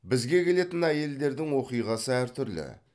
бізге келетін әйелдердің оқиғасы әртүрлі